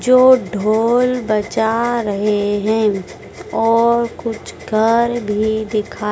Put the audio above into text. जो ढोल बजा रहे है और कुछ घर भी दिखा--